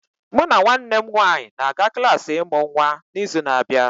Mụ na nwanne m nwanyị ga-aga klas ịmụ nwa n'izu na-abịa